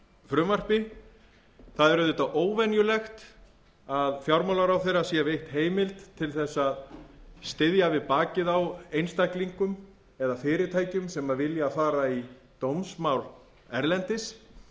frumvarpi það er auðvitað óvenjulegt að fjármálaráðherra sé veitt heimild mikil þess að styðja við bakið á einstaklingum eða fyrirtækjum sem vilja fara í dómsmál erlendis